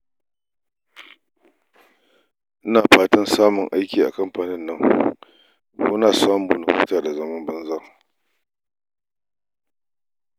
Ina fatan samun aiki a kamfanin nan ko na samu na huta da zaman banza